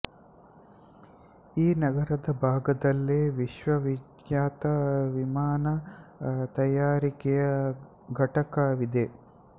ಈ ನಗರದ ಭಾಗದಲ್ಲೇ ವಿಶ್ವವಿಖ್ಯಾತ ವಿಮಾನ ತಯಾರಿಕೆಯ ಘಟಕ ವಿದೆ